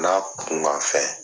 N'a kunkan fɛn.